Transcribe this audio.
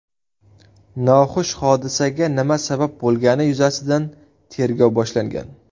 Noxush hodisaga nima sabab bo‘lgani yuzasidan tergov boshlangan.